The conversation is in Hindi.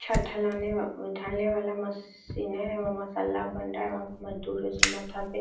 छत ढलाने व ढालने वाला मस्त सीन है मसाला बन रहा है वहाँ पे मजदूर माथा पे --